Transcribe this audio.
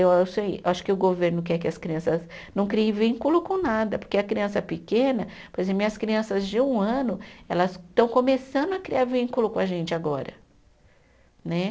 Eu achei, acho que o governo quer que as crianças não criem vínculo com nada, porque a criança pequena, por exemplo, minhas crianças de um ano, elas estão começando a criar vínculo com a gente agora né.